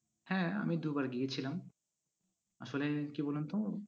হ্যাঁ আমি দু'বার গিয়েছিলাম। আসলে কি বলুন তো